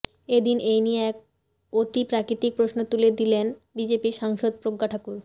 এদিন এই নিয়ে এক অতিপ্রাকৃতিক প্রশ্ন তুলে দিলেন বিজেপি সাংসদ প্রজ্ঞা ঠাকুর